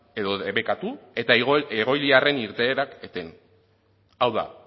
edo debekatu eta egoiliarren irteerak eten hau da